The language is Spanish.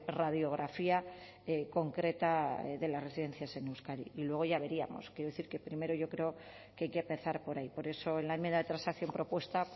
radiografía concreta de las residencias en euskadi y luego ya veríamos quiero decir primero yo creo que hay que empezar por ahí por eso en la enmienda de transacción propuesta